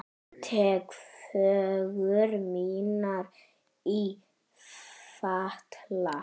Tek föggur mínar í fatla.